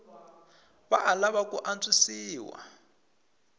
wa ha lava ku antswisiwa